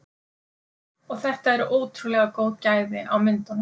Og þetta eru ótrúlega góð gæði á myndunum?